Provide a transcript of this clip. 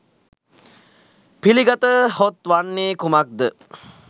පිළිගතහොත් වන්නේ කුමක්ද?